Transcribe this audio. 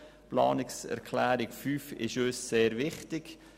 Die Planungserklärung 5 ist uns sehr wichtig.